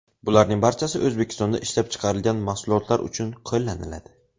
Bularning barchasi O‘zbekistonda ishlab chiqarilgan mahsulotlar uchun qo‘llaniladi.